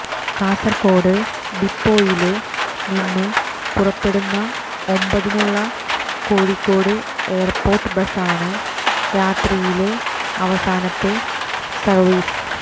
കാസര്കോട് ഡിപ്പോയില് നിന്ന് പുറപ്പെടുന്ന ഒമ്പതിനുള്ള കോഴിക്കോട് എയര്പോര്ട്ട് ബസാണ് രാത്രിയിലെ അവസാനത്തെ സര്വീസ്